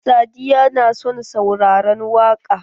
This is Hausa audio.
Sadiya na son sauraran waƙa.